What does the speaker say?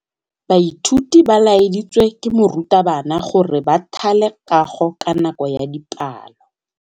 Baithuti ba laeditswe ke morutabana gore ba thale kagô ka nako ya dipalô.